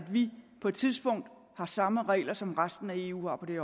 at vi på et tidspunkt har samme regler som resten af eu har på det